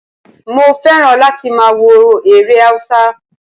Mo fẹ́ràn láti máa wo eré Haúsá